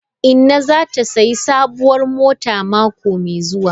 Inna zata sayi sabuwar mota mako mai zuwa.